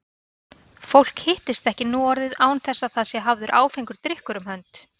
Fólk hittist ekki nú orðið án þess að það sé hafður áfengur drykkur um hönd.